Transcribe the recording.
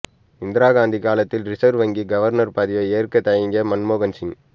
இந்திரா காந்தி காலத்தில் ரிசர்வ் வங்கி கவர்னர் பதவியை ஏற்க தயங்கிய மன்மோகன் சிங்